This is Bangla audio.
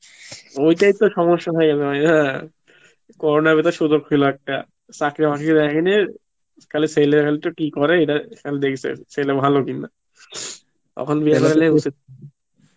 ওই টাই তো সমস্যা ভাইয়া corona র ভিতর সুযোগ ছিল একটা, চাকরি মাকড়ি দেখেনি, খালি ছেলে কি করে খালি দেখেছে ছেলে ভালো কিনা